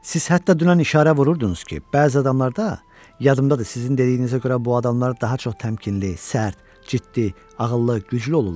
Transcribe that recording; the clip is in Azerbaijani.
Siz hətta dünən işarə vururdunuz ki, bəzi adamlarda, yadımdadır, sizin dediyinizə görə bu adamlar daha çox təmkinli, sərt, ciddi, ağıllı, güclü olurlar.